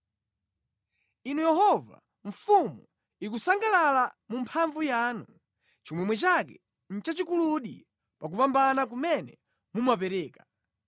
Inu Yehova, mfumu ikusangalala mu mphamvu yanu, chimwemwe chake nʼchachikuludi pa kupambana kumene mumapereka!